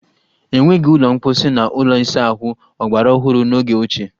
E nweghi ụlọ mposi na ụlọ ịsa ahụ ọgbaraọhụrụ n'oge ochie.